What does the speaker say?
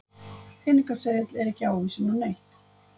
Peningaseðill er ekki ávísun á neitt.